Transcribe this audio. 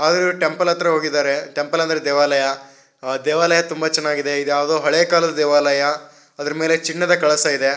ಅವರು ಟೆಂಪಲ್ ಹತ್ರ ಹೋಗಿದ್ದಾರೆ ಟೆಂಪಲ್ ಅಂದರೆ ದೇವಾಲಯ ಆ ದೇವಾಲಯ ತುಂಬಾ ಚೆನ್ನಾಗಿದೆ ಇದು ಯಾವುದೊ ಹಳೆಯ ಕಾಲದ ದೇವಾಲಯ ಅದರ ಮೇಲೆ ಚಿನ್ನದ ಕಲಶ ಇದೆ.